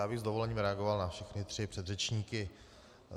Já bych s dovolením reagoval na všechny tři předřečníky.